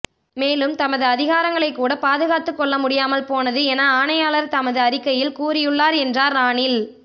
மேலும் தமது அதிகாரிகளைக் கூட பாதுகாத்து கொள்ள முடியாமல் போனது என ஆணையாளர் தமது அறிக்கையில் கூறியுள்ளார் என்றார் ரணில்